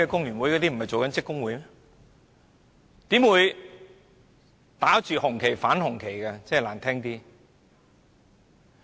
難聽點說，怎會打着紅旗反紅旗呢？